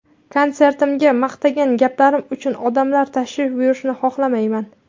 Konsertimga maqtagan gaplarim uchun odamlar tashrif buyurishini xohlamayman.